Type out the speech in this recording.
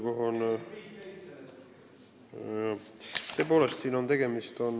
Jah, tõepoolest, siin on tegemist ...